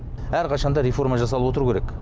әрқашан да реформа жасалып отыру керек